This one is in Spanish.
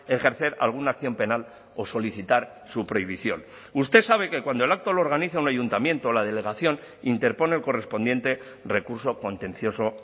ejercer alguna acción penal o solicitar su prohibición usted sabe que cuando el acto lo organiza un ayuntamiento la delegación interpone el correspondiente recurso contencioso